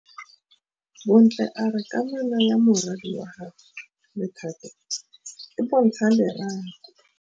Bontle a re kamanô ya morwadi wa gagwe le Thato e bontsha lerato.